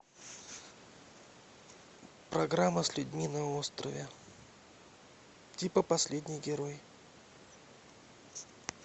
программа с людьми на острове типа последний герой